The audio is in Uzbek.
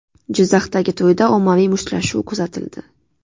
Jizzaxdagi to‘yda ommaviy mushtlashuv kuzatildi .